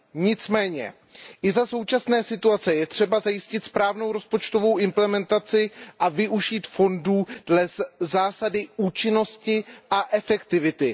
Nicméně i za současné situace je třeba zajistit správnou rozpočtovou implementaci a využívat fondů dle zásady účinnosti a efektivity.